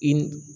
I